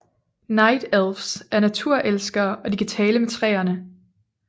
Night Elfs er naturelskere og de kan tale med træerne